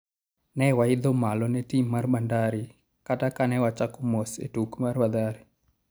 ne waidho malo ne tim Mar Bandari kata kane wachako mos e tuk Mathare